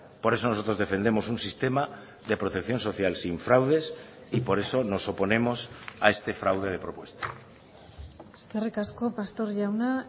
por eso nosotros defendemos un sistema de protección social sin fraudes y por eso nos oponemos a este fraude de propuesta eskerrik asko pastor jauna